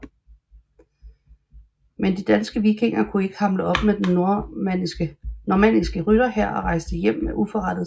Men de danske vikinger kunne ikke hamle op med den normanniske rytterhær og rejste hjem med uforrettet sag